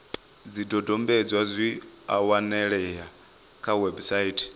zwidodombedzwa zwi a wanalea kha website